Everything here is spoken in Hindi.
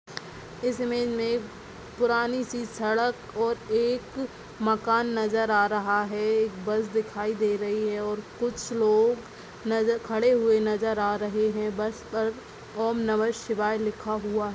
इस इमेज में पुरानी सी सड़क और एक मकान नजर आ रहा है बस बार दिखाई दे रही है और कुछ लोग नजर खड़े हुए नजर आ रहा है बस पर ओम नमः शिवाय लिखा हुआ है।